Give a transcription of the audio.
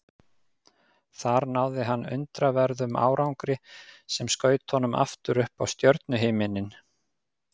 Þar náði hann undraverðum árangri sem skaut honum aftur upp á stjörnuhimininn.